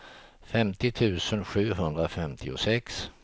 femtio tusen sjuhundrafemtiosex